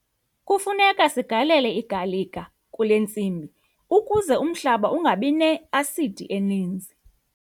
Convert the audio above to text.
Kufuneka sigalele igalika kule ntsimi ukuze umhlaba ungabi ne-asidi eninzi.